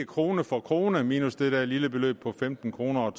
krone for krone minus det der lille beløb på femten kroner